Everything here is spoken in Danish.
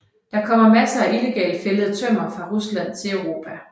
Der kommer masser af illegalt fældet tømmer fra Rusland til Europa